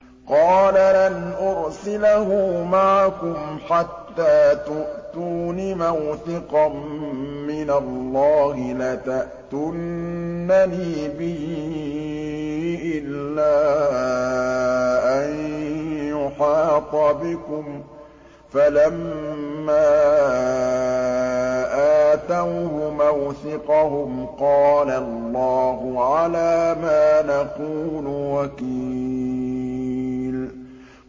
قَالَ لَنْ أُرْسِلَهُ مَعَكُمْ حَتَّىٰ تُؤْتُونِ مَوْثِقًا مِّنَ اللَّهِ لَتَأْتُنَّنِي بِهِ إِلَّا أَن يُحَاطَ بِكُمْ ۖ فَلَمَّا آتَوْهُ مَوْثِقَهُمْ قَالَ اللَّهُ عَلَىٰ مَا نَقُولُ وَكِيلٌ